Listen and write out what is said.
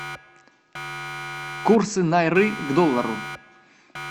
курсы найры к доллару